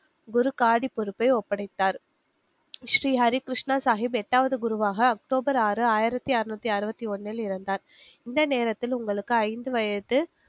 குருகாடி பொறுப்பை ஒப்படைத்தார். ஸ்ரீ ஹரி கிருஷ்ணா சாஹிப் எட்டாவது குருவாக அக்டோபர் ஆறு ஆயிரத்தி அறுநூத்தி அறுபத்தி ஒண்ணில் இறந்தார் இந்த நேரத்தில் உங்களுக்கு ஐந்து வயது